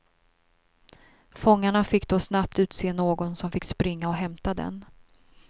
Fångarna fick då snabbt utse någon som fick springa och hämta den.